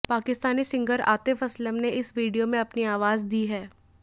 Pakistani singer Atif Aslam ने इस video में अपनी आवाज दी है